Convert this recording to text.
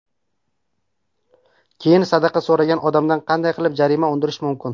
Keyin, sadaqa so‘ragan odamdan qanday qilib jarima undirish mumkin?